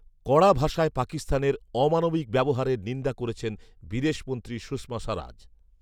কড়া ভাষায় পাকিস্তানের ‘অমানবিক ব্যবহারের’ নিন্দা করছেন বিদেশমন্ত্রী সুষমা স্বরাজ৷